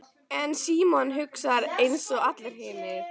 En Símon hugsar einsog allir hinir.